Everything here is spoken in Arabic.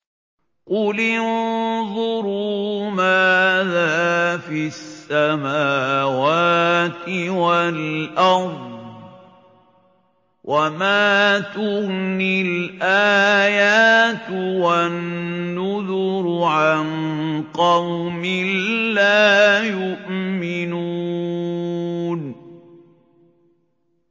قُلِ انظُرُوا مَاذَا فِي السَّمَاوَاتِ وَالْأَرْضِ ۚ وَمَا تُغْنِي الْآيَاتُ وَالنُّذُرُ عَن قَوْمٍ لَّا يُؤْمِنُونَ